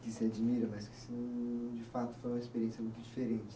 Que se admira, mas que, de fato, foi uma experiência muito diferente.